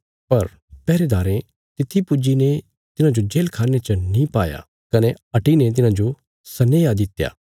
पर पैहरेदारें तित्थी पुज्जी ने तिन्हांजो जेलखान्ने च नीं पाया कने हटिने तिन्हांजो सनेहा दित्या